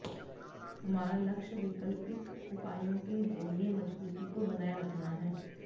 हमारा लक्ष्य वैकल्पिक उपायों के जरिये मजबूती को बनाये रखना है